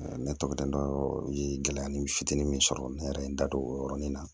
ne tɔgɔ ye gɛlɛyamu fitinin sɔrɔ ne yɛrɛ ye n da don o yɔrɔnin na